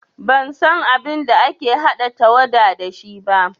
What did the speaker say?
Ban san abin da ake haɗa tawada da shi ba